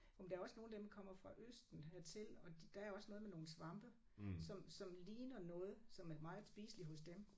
Jo men der er også nogle af dem kommer fra Østen hertil og de der er også noget med nogle svampe som som ligner noget som er meget spiseligt hos dem